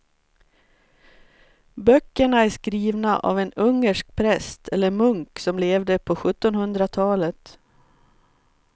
Böckerna är skrivna av en ungersk präst eller munk som levde på sjuttonhundratalet.